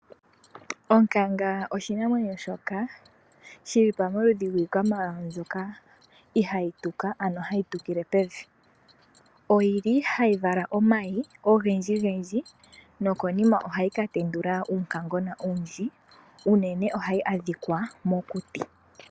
Onkanga oshinamwenyo shoka shili pamaludhi ngikwamawawa mbyoka ihayituka ano hayitukile pevi, oyili hayi vala omayi ongendji ngendji nokonima ohayi katendula uunkangona owundji unene ohayi adhika mokuti.